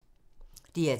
DR2